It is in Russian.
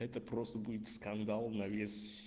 это просто будет скандал на вес